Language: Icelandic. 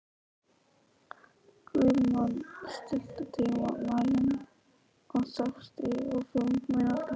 Guðmon, stilltu tímamælinn á sextíu og fimm mínútur.